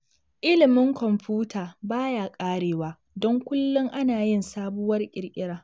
Ilimin kwamfuta ba ya ƙarewa don kullum ana yin sabuwar ƙirƙira